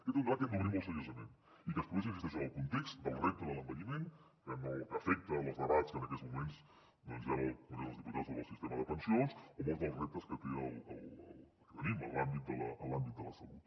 aquest és un debat que hem d’obrir molt seriosament i que es produeix hi insisteixo en el context del repte de l’envelliment que afecta els debats que en aquests moments doncs hi han al congrés dels diputats sobre el sistema de pensions o molts dels reptes que tenim en l’àmbit de la salut